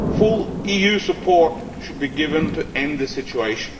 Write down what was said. Full EU support should be given to end the situation.